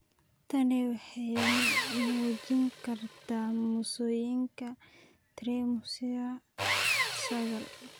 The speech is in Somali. Tani waxay muujin kartaa mosaika trisomy sagal.